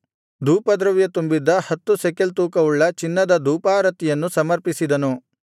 ಧೂಪದ್ರವ್ಯ ತುಂಬಿದ್ದ ಹತ್ತು ಶೆಕೆಲ್ ತೂಕವುಳ್ಳ ಚಿನ್ನದ ಧೂಪಾರತಿಯನ್ನು ಸಮರ್ಪಿಸಿದನು